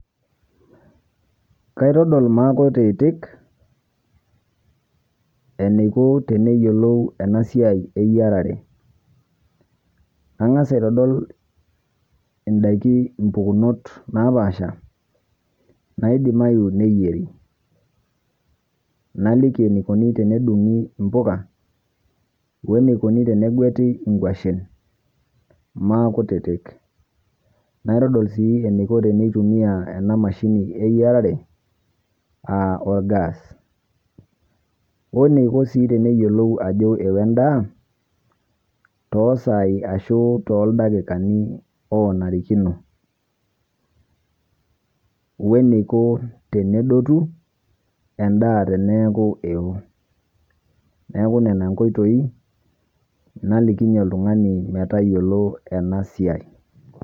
Kaitodol maa kutitik eneikoo tene iyeloou ena siai e yarare. Kaing'as aitadol ndaaki mpukunot naapasha naidimayu neeyeri. Naaliki neikonii tene dung'ii mbukaa one eikooni tene ng'etii nkuashen maa kutitik. Naitodol sii eneikoo tene itumia ena mashini eyarare aa olgas. Oneikoo sii tene iyeloou ajoo eoo endaa to saii ashuu to ldakikani onaarikino, one ikoo tene dootu endaa teneaku eoo. Neeku nena nkoitoi nalikinyie ltung'ani mee taiyeloo ena siai.